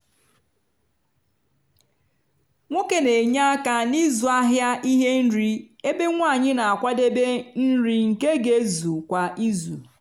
nwoke n'enye aka n'ịzụ ahịa ihe nri ebe nwanyi na-akwadebe nri nke ga ezu kwa izu.